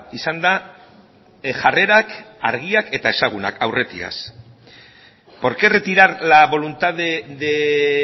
izan da jarrerak argiak eta ezagunak aurretiaz por qué retirar la voluntad de